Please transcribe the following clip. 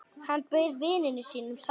Hann bauð vininum sætið sitt.